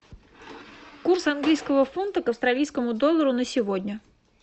курс английского фунта к австралийскому доллару на сегодня